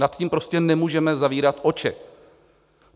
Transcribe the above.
Nad tím prostě nemůžeme zavírat oči.